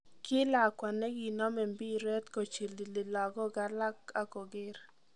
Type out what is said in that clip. Kii Lakwa negi nome mbiiret kochilili lagook alak ak koger.